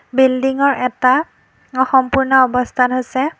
Building ৰ এটা অসম্পূৰ্ণ অৱস্থাত আছে।